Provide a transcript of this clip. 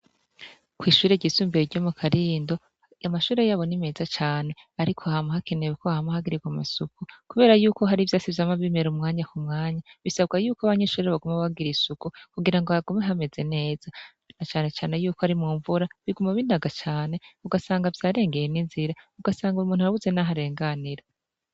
Kwishure ryisumbuye ryo mukarindo amashure yaho ni meza cane ariko hama hakenewe ko hagirirwa amasuku kubera yuko hariho ivyatsi vyama bimera kumwanya kumwanya bisabwa yuko abanyeshure baguma bagira isuku kugirango hagume hameze neza na cane cane yuko ari mu mvura biguma binaga cane ugasanga vyarenganye ninzira ugasanga numuntu arabuze naho arenganira